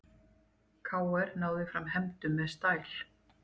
KR náði fram hefndum með stæl